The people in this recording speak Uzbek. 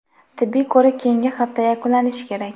Tibbiy ko‘rik keyingi hafta yakunlanishi kerak.